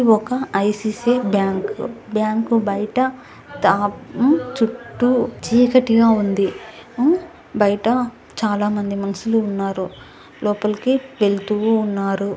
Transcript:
ఇది ఒక ICC bank . Bank బయట ఊ దా చుట్టూ చీకటిగా ఉంది.ఊ బయట చాలా మంది మనుషులు ఉన్నారు. లోపలికి వెళుతూ ఉన్నారు.